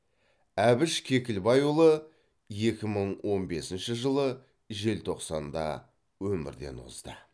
әбіш кекілбайұлы екі мың он бесінші жылы желтоқсанда өмірден озды